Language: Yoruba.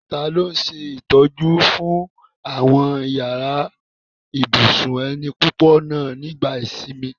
Tani ó ṣe ìtọ́jú fún àwọn yàrá ibùsùn ẹni púpọ̀ náà nígbà ìsinmi?